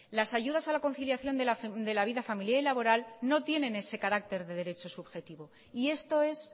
las ayudas a la conciliación de la vida familiar y laboral no tienen ese carácter de derecho subjetivo y esto es